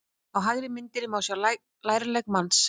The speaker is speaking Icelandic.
Á hægri myndinni má sjá lærlegg manns.